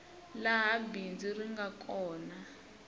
laha bindzu ri nga kona